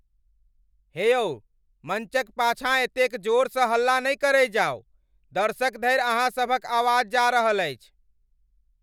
हे यौ, मञ्चक पाछाँ एतेक जोरसँ हल्ला नहि करै जाउ। दर्शक धरि अहाँ सभक आवाज जा रहल अछि।